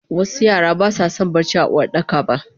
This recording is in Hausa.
wasu Yara baswason barci a Uwardakaba